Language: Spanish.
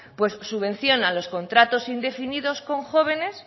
pues subvencionan los contratos indefinidos con jóvenes